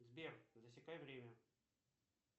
сбер засекай время